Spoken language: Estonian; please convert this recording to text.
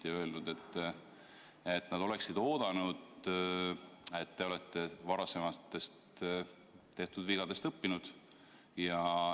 Nad on öelnud, et nad ootasid, et te olete varasematest vigadest õppinud.